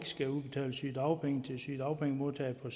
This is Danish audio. skal udbetales sygedagpenge til sygedagpengemodtagere på